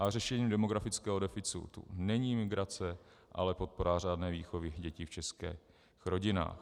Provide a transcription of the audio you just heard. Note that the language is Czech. A řešením demografického deficitu není migrace, ale podpora řádné výchovy dětí v českých rodinách.